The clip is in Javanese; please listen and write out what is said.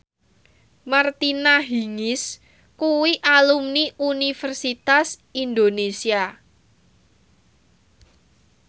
Martina Hingis kuwi alumni Universitas Indonesia